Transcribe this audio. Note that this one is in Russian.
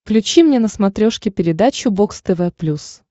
включи мне на смотрешке передачу бокс тв плюс